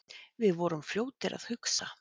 Við vorum fljótir að hugsa.